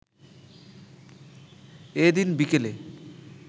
এদিন বিকেলে